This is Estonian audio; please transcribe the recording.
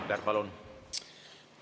Rain Epler, palun!